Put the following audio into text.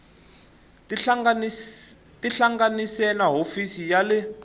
tihlanganise na hofisi ya le